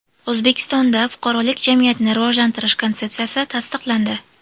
O‘zbekistonda fuqarolik jamiyatini rivojlantirish konsepsiyasi tasdiqlandi.